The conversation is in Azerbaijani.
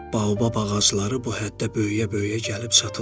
Baobab ağacları bu həddə böyüyə-böyüyə gəlib çatırlar.